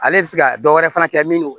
Ale bɛ se ka dɔ wɛrɛ fana kɛ min